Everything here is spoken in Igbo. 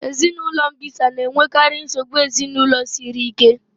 Ezinụlọ mbisa na-enwekarị nsogbu ezinụlọ siri ike